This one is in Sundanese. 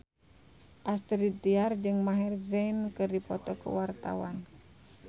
Astrid Tiar jeung Maher Zein keur dipoto ku wartawan